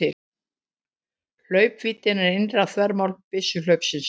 Hlaupvíddin er innra þvermál byssuhlaupsins.